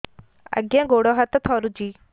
ଆଜ୍ଞା ଗୋଡ଼ ହାତ ଥରୁଛି